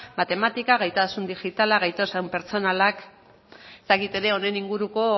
matematika gaitasun digitala gaitasun pertsonalak ez dakit ere honen inguruko